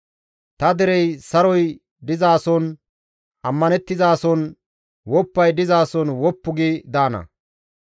Ta derey saroy dizason, ammanththizason, woppay dizason woppu gi daana.